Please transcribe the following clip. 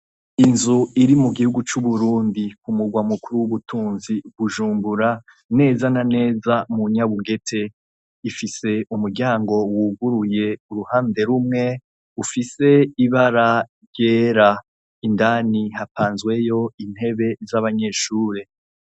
Inzu iri mu gihugu c'uburundi ku murwa mukuru w'ubutunzi gujumbura neza na neza mu nyabugete ifise umuryango wuguruye uruhande rumwe ufise ibara ryera indani hapanzweyo intebe z'abanyeshure.